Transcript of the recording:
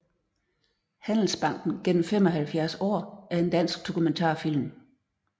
Handelsbanken gennem 75 Aar er en dansk dokumentarfilm